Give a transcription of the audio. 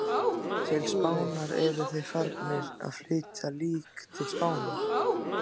Til Spánar, eru þeir farnir að flytja lík til Spánar?